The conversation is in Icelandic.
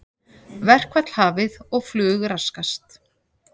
Verkfall hafið og flug raskast